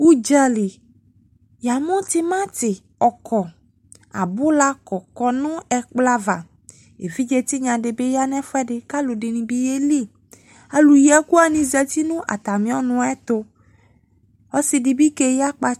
Udzali, ya mu temate ɔkɔ, abula kɔkɔ no ɛkplɔ ava Evidze tenya de be ya no ɛfuɛde, ka alu de ne be yali Alu yi ɛku wane zati no atame ɔnu ayeto Ɔse debe keyi akpa